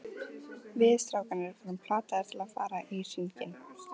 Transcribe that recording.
Við strákarnir vorum plataðir til að fara í hringinn.